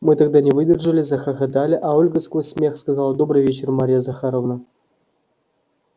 мы тогда не выдержали захохотали а ольга сквозь смех сказала добрый вечер марья захаровна